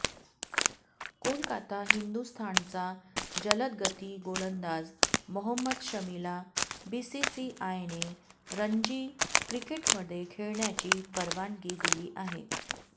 कोलकाता हिंदुस्थानचा जलदगती गोलंदाज मोहम्मद शमीला बीसीसीआयने रणजी क्रिकेटमध्ये खेळण्याची परवानगी दिली आहे